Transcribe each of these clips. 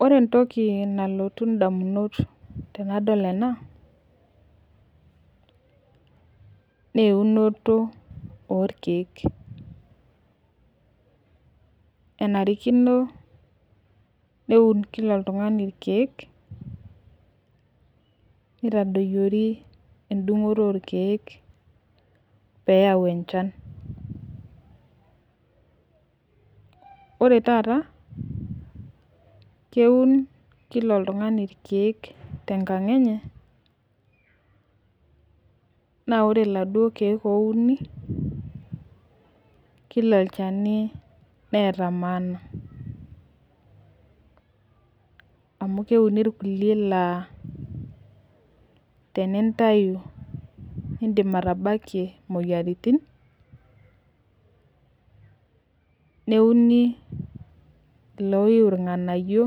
Ore entoki nalotu damunot tenadol ena, naa eunoto orkeek, kenarikino, neun Kila oltungani irkeek, nitadoyiori edungoto orkeek pee eyau enchan. ore taata keun Kila oltungani irkeek tenkang enye, naa ore Kila irkeek teneuni. kila olchani neeta maana. amh keuni irkulie laa tenintayu, idim atabakie imoyiaritin. neuni iloiu irnganayio,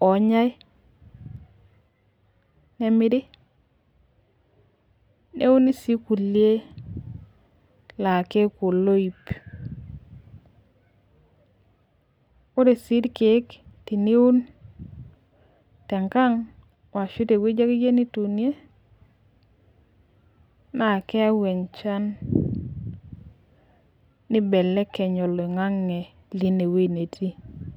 oonyae, nemiri, neuni sii kulie laa keeku oloip. ore sii irkeek teniun tenkang ashu te wueji akeyie nituunie, naa keyau enchan nibelekeny oloingang'e leine wueji netii.